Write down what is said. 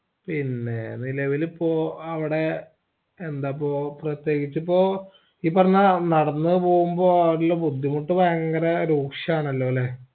പിന്നേ നിലവിലിപ്പോ അവിടെ യെന്താപ്പോ പ്രത്യേകിച്ചപ്പൊ ഈ പറഞ്ഞാ നടന്ന് പോമ്പോ അവിടിള്ള ബുദ്ധിമുട്ട് ഭയങ്കര രൂക്ഷാണെല്ലോല്ലേ